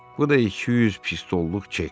Bu da 200 pistoluk çek.